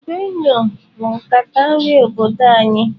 Benue bụ nkata nri obodo anyị.